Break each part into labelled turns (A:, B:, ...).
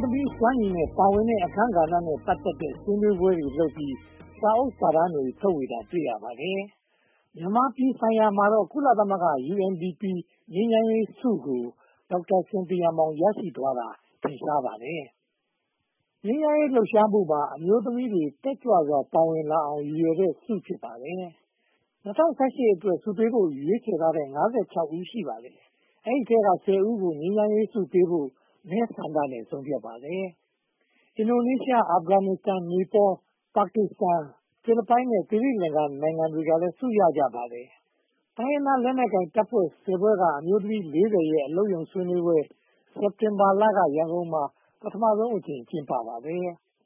A: းသမီးတွေရဲ့ စွမ်းရည်နဲ့ သူတို့ပါဝင်တဲ့အခန်းကဏ္ဍနဲ့ ပတ်သက်တဲ့ ဆွေးနွေးပွဲတွေလုပ်ပြီး စာအုပ်စာတမ်းတွေ ထုတ်ဝေတာကို တွေ့ရပါတယ်။ မြန်မာပြည်ဆိုင်ရာမှာတော့ ကုလသမဂ္ဂ UNDP ငြိမ်းချမ်းရေးဆုကို ဒေါက်တာစင်သီယာမောင် ရရှိသွားတာ ထင်ရှားပါတယ်။ ငြိမ်းချမ်းရေးလှုပ်ရှားမှုများမှာ အမျိုးသမီးတွေ တက်ကြွစွာပါဝင်လာအောင် ရည်ရွယ်တဲ့ဆု ဖြစ်ပါတယ်။ ၂၀၀၈ အတွက် ဆုပေးဖို့ ရွေးချယ်ထားသူ ဦး ရှိပါတယ်။ ဒီအထဲမှာ ဦးကို ငြိမ်းချမ်းရေးဆုပေးဖို့ မဲဆန္ဒနဲ့ ဆုံးဖြတ်ခဲ့ပါတယ်။ အင်ဒိုနီးရှား၊ အာဖဂန်နစ္စတန်၊ နေပေါလ်၊ ပါကစ္စတန်၊ ဖိလစ်ပိုင် နဲ့ သီရိလင်္ကာနိုင်ငံတွေကလည်း ဆုရရှိကြပါတယ်။ တိုင်းရင်းသားလက်နက်ကိုင်တပ်ဖွဲ့ ဖွဲ့က အမျိုးသမီး ရဲ့ အလုပ်ရုံဆွေးနွေးပွဲ စက်တင်ဘာလက ရန်ကုန်မှာ ပထမဦးဆုံးအကြိမ် ကျင်းပခဲ့ပါတယ်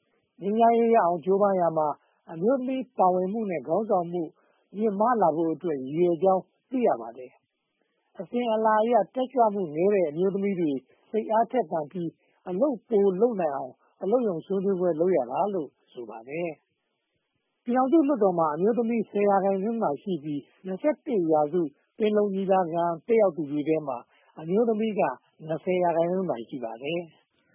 A: ။ ငြိမ်းချမ်းရေးရအောင် ကြိုးပမ်းရာမှာ အမျိုးသမီးပါဝင်မှုနဲ့ ခေါင်းဆောင်မှု မြင့်မားလာဖို့အတွက် ရည်ရွယ်ကြောင်း သိရပါတယ်။ အစဉ်အလာအရ တက်ကြွမှုနည်းတဲ့ အမျိုးသမီးတွေ စိတ်အားထက်သန်ပြီး အလုပ်ပိုလုပ်နိုင်အောင် အလုပ်ရုံဆွေးနွေးပွဲ လုပ်ရတာလို့ ဆိုပါတယ်။ ပြည်ထောင်စုလွှတ်တော်မှာ အမျိုးသမီး ရာခိုင်နှုန်းသာရှိပြီး ရာစု ပင်လုံ ငြိမ်းချမ်းရေးညီလာခံ တက်ရောက်သူတွေထဲမှာ အမျိုးသမီးက ရာခိုင်နှုန်းသာ ရှိပါတယ်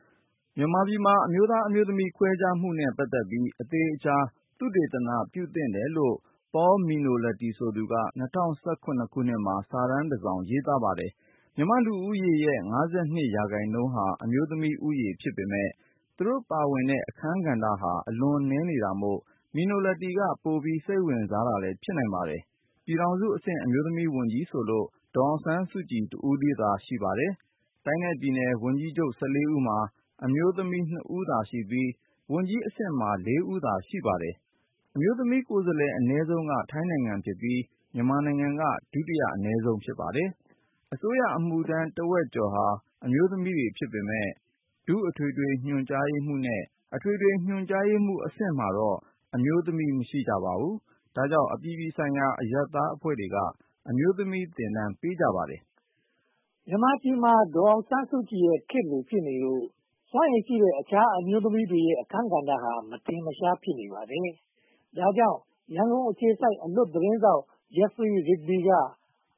B: ။ မြန်မာပြည်မှာ အမျိုးသား-အမျိုးသမီး ခွဲခြားဆက်ဆံမှုနဲ့ ပတ်သက်ပြီး အသေအချာ သုတေသန ပြုလုပ်သင့်တယ်လို့ Paul Minoletti ဆိုသူက ၂၀၁၇ မှာ စာတမ်းတစောင် ရေးခဲ့ဖူးပါတယ်။ မြန်မာ့လူဦးရေးမှာ ရာခိုင်နှုန်းက အမျိုးသမီးလူဦးရေ ဖြစ်ပေမယ့် သူတို့ပါဝင်တဲ့ အခန်းကဏ္ဍဟာ အလွန်နည်းနေတာမို့ Minoletti က ပိုပြီးစိတ်ဝင်စားတာလည်း ဖြစ်နိုင်ပါတယ်။ ပြည်ထောင်စုအဆင့် အမျိုးသမီးဝန်ကြီးဆိုလို့ ဒေါ်အောင်ဆန်းစုကြည် တယောက်တည်း ရှိပါတယ်။ တိုင်းနဲ့ပြည်နယ်ဝန်ကြီးချုပ် ဦးမှာ အမျိုးသမီး ဦးသာရှိပြီး မြန်မာက ဒုတိယအနည်းဆုံး ဖြစ်ပါတယ်။ အစိုးရအမှုထတ်းတဝက်ကျော်ဟာ အမျိုးသမီးတွေဖြစ်ပေမယ့် ဒုအထွေထွေညွှန်ကြားရေးမှူးနဲ့ အထွေထွေညွှန်ကြားရေးမှူးနေရာတွေမှာတော့ အမျိုးသမီး မရှိပါဘူး။ ဒါကြောင့် အပြည်ပြည်ဆိုင်ရာ အရပ်သားအဖွဲ့တွေက အမျိုးသမီးသင်တန်းတွေ ပေးကြပါတယ်။ မြန်မာပြည်မှာ ဒေါ်အောင်ဆန်းစုကြည်ရဲ့ ခေတ်လိုဖြစ်နေလို့ စွမ်းရည်ရှ
A: ိတဲ့ အမျိုးသမီးတွေရဲ့ အခန်းကဏ္ဍဟာ မထင်မရှား ဖြစ်နေပါတယ်။ ဒါကြောင့် ရန်ကုန်အခြေစိုက် အလွတ်သတင်းထောက် Jennifer Rigby က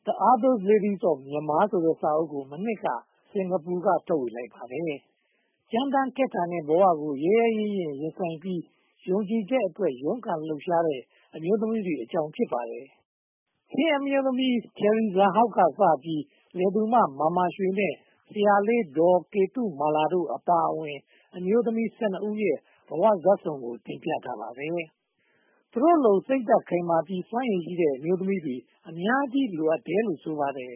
A: The Other Ladies of Myanmar ဆိုတဲ့ စာအုပ်ကို မနှစ်က စင်္ကာပူမှာ ထုတ်ဝေလိုက်ပါတယ်။ ကြမ်းတမ်းခက်ထန်တဲ့ဘဝကို ရဲရဲရင့်ရင့် ရင်ဆိုင်ကြပြီး ယုံကြည်ချက်အတွက် ရုန်းကန်လှုပ်ရှားတဲ့ အမျိုးသမီးတွေအကြောင်း ဖြစ်ပါတယ်။ ချင်းအမျိုးသမီး Cheery Zahau စပြီး၊ လယ်သူမ မာမာရွှေ နဲ့ ဆရာလေးဒေါ်ကေတုမာလာတို့အပါအဝင် အမျိုးသမီး ဦးရဲ့ ဘဝဇာတ်ခုံတို့ကို တင်ပြထားပါတယ်။ သူတို့လို စိတ်ဓါတ်ခိုင်မာပြီး စွမ်းရည်ရှိတဲ့ အမျိုးသမီးတွေ အများကြီးလိုအပ်တယ်လို့ ဆိုပါတယ်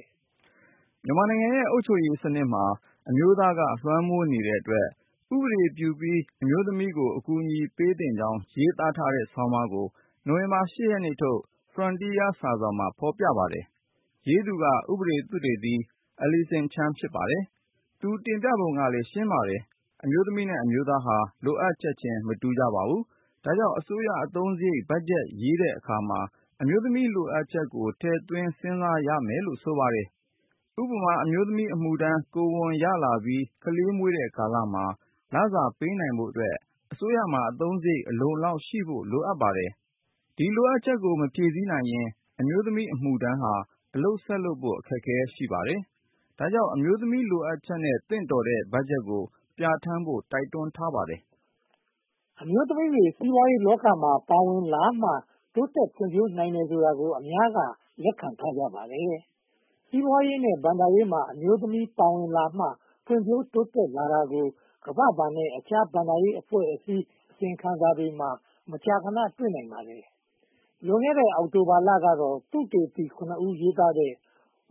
B: ။ မြန်မာနိုင်ငံရဲ့ အုပ်ချုပ်ရေးစနစ်မှာ အမျိုးသားက လွှမ်းမိုးနေတဲ့အတွက် ဥပဒေပြုပြီး အမျိုးသမီးတွေကို အကူအညီပေးသင့်ကြောင်း ရေးထားတဲ့ဆောင်းပါးကို နိုဝင်ဘာလ ရက်နေ့ထုတ် Frontier စာစောင်မှာ ဖော်ပြထားပါတယ်။ ရေးသူက ဥပဒေသုတေသီ Alison Chan ဖြစ်ပါတယ်။ သူရဲ့ တင်ပြပုံက ရှင်းပါတယ်။ အမျိုးသမီးနဲ့ အမျိုးသမီးတို့ဟာ လိုအပ်ချက်ချင်း မတူညီကြပါဘူး။ ဒါကြောင့် အစိုးရအသုံးစရိတ် ဘတ်ဂျက်ရေးဆွဲတဲ့အခါမှာ အမျိုးသမီးလိုအပ်ချက်ကို ထည့်သွင်းစဉ်းစားရမယ်လို့ ဆိုပါတယ်။ ဥပမာ အမျိုးသမီးအမှုထမ်း ကိုယ်ဝန်ရှိပြီး ကလေးမွေးတဲ့ကာလမှာ လစာပေးနိုင်ဖို့အတွက် အစိုးရမှာ အသုံးစရိတ် အလုံအလောက်ရှိဖို့ လိုပါတယ်။ ဒီလိုအပ်ချက်ကို မဖြည့်ဆည်းနိုင်ရင် အမျိုးသမီးအမှုထမ်းအနေနဲ့ အလုပ်ဆက်လုပ်ဖို့ အခက်အခဲ ရှိပါတယ်။ ဒါကြောင့် အမျိုးသမီးလိုအပ်ချက်နဲ့ သင့်တော်တဲ့ ဘတ်ဂျက်ကို ပြဌာန်းဖို့ တိုက်တွန်းထားပါတယ်။ အမျိုးသမီးတွေရဲ့ စီးပွားရေးလောကမှာ ပါဝင်လာမှ
A: တိုးတက်ဖွံ့ဖြိုးနိုင်တယ်ဆိုတာကို အများက လက်ခံထားကြပါတယ်။ စီးပွားရေးနဲ့ ဘဏ္ဍာရေးမှာ အမျိုးသမီးတွေပါဝင်လာမှ ဖွံ့ဖြိုးတိုးတက်လာတာကို ကမ္ဘာ့ဘဏ်နဲ့ အခြားဘဏ္ဍာရေးအဖွဲ့တို့ရဲ့ အစီရင်ခံစာတွေမှာ မကြာခဏ တွေ့နိုင်ပါတယ်။ လွန်ခဲ့တဲ့ အောက်တိုဘာလကတော့ သုတေသီ ဦး ရေးထားတဲ့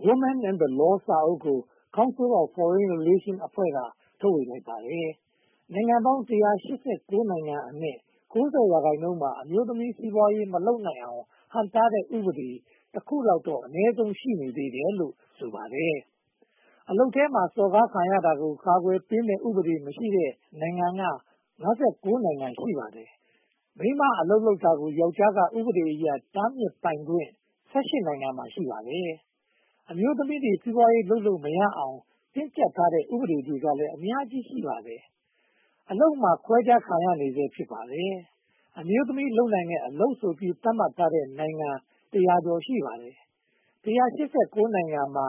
A: Women and the Law စာအုပ်ကို Council of Foreign Relations အဖွဲ့က ထုတ်ဝေလိုက်ပါတယ်။ နိုင်ငံပေါင်း နိုင်ငံအနက် ရာခိုင်နှုန်းမှာ အမျိုးသမီးတွေ စီးပွားရေး မလုပ်နိုင်အောင် ဟန့်တားထားတဲ့ ဥပဒေ တစ်ခုလောက်တော့ ရှိတယ်လို့ ဆိုပါတယ်။ အလုပ်ခွင်ထဲမှာ စော်ကားမခံရအောင် ကာကွယ်ပေးနိုင်မယ့် ဥပဒေမရှိတဲ့ နိုင်ငံက နိုင်ငံ ရှိပါတယ်။ မိန်းမအလုပ်လုပ်တာကို ယောကျ်ားက ဥပဒေအရ တားမြစ်ပိုင်ခွင့် နိုင်ငံမှာ ရှိပါတယ်။ အမျိုးသမီးတွေ စီးပွားရေးလုပ်လို့မရအောင် တင်းကျပ်ထားတဲ့ ဥပဒေတွေကလည်း အများကြီးရှိပါတယ်။ အလုပ်မှာ ခွဲခြားခံရမှု ရှိနေဆဲ ဖြစ်ပါတယ်။ အမျိုးသမီးလုပ်နိုင်တဲ့ အလုပ်ဆိုပြီး သတ်မှတ်ထားတဲ့ နိုင်ငံတစ်ရာကျော် ရှိပါတယ်။ နိုင်ငံမှာ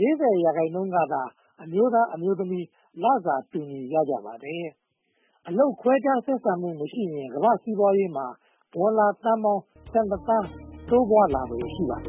A: ရာခိုင်နှုန်းကသာ အမျိုးသား-အမျိုးသမီး လစာတူညီကြပါတယ်။ အလုပ်ခွဲခြား ဆက်ဆံမှုမရှိရင် ကမ္ဘာ့စီးပွားရေးမှာ ဒေါ်လာသန်းပေါင်း သန်း တိုးပွားလာလာဖွယ် ရှိပါတယ